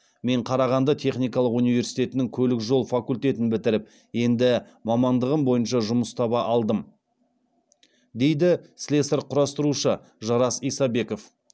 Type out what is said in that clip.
мен қарағанды техникалық университетінің көлік жол факультетін бітіріп енді мамандығым бойынша жұмыс таба алдым дейді слесарь құрастырушы жарас исабеков